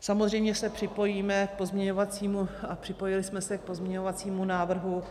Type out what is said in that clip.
Samozřejmě se připojíme k pozměňovacímu - a připojili jsme se k pozměňovacímu návrhu,